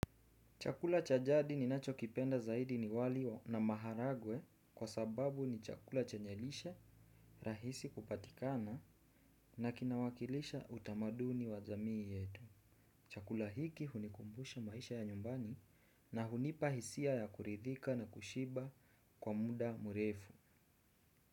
Chakula cha jadi ninachokipenda zaidi ni wali na maharagwe kwa sababu ni chakula chenye lishe rahisi kupatikana na kinawakilisha utamaduni wa jamii yetu. Chakula hiki hunikumbusha maisha ya nyumbani na hunipa hisia ya kuridhika na kushiba kwa muda mrefu.